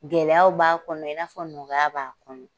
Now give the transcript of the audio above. Gɛlɛyaw b'a kɔnɔ i n'a fɔ nɔgɔya b'a kɔnɔ.